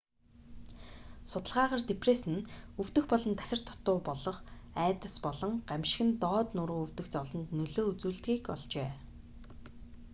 судалгаагаар депресс нь өвдөх болон тахир дутаа болох айдас болон гамшиг нь доод нуруу өвдөх зовлонд нөлөө үзүүлдэгийг олжээ